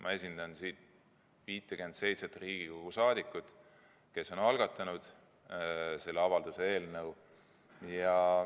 Ma esindan siin 57 Riigikogu liiget, kes on algatanud selle avalduse eelnõu.